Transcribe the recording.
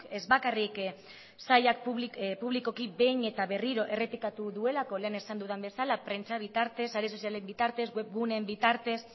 ez bakarrik sailak publikoki behin eta berriro errepikatu duelako lehen esan dudan bezala prentsa bitartez sare sozialen bitartez webguneen bitartez